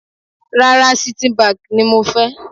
Rárá, Citibank ni mo fẹ́.